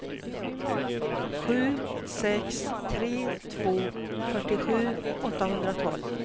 sju sex tre två fyrtiosju åttahundratolv